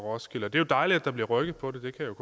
roskilde det er dejligt at der bliver rykket på det det kan